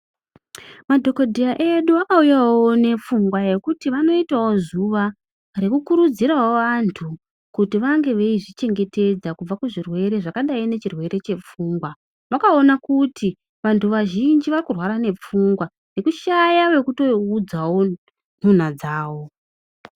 Madhokodheya edu akauyawo nepfungwa yekuti vanoitawo zuwa rekukurudzirawo vantu kuti vange veizvichengetedza kubva kuzvirwere zvakadai nechirwere chepfungwa. Vakaona kuti vantu vazhinji varikurwara nepfungwa nekushaya wekutoudzawo nhunha dzavo.